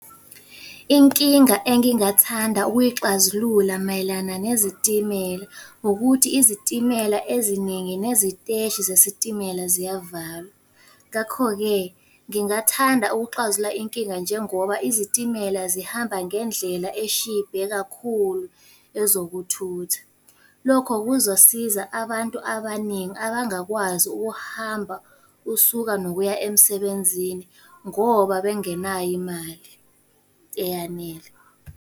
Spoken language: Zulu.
Inkinga engingathanda ukuyixazulula mayelana nezitimela, ukuthi izitimela eziningi neziteshi zesitimela ziyavalwa. Ngakho-ke ngingathanda ukuxazulula inkinga njengoba izitimela zihamba ngendlela eshibhe kakhulu ezokuthutha. Lokho kuzosiza abantu abaningi abangakwazi ukuhamba usuka nokuya emsebenzini, ngoba bengenayo imali eyanele.